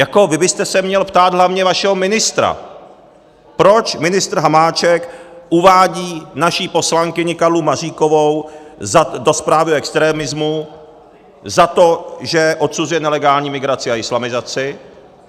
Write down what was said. Jako vy byste se měl ptát hlavně vašeho ministra, proč ministr Hamáček uvádí naši poslankyni Karlu Maříkovou do zprávy u extremismu za to, že odsuzuje nelegální migraci a islamizaci.